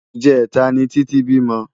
ijètá ni Titi bímò